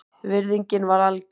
Virðingin var algjör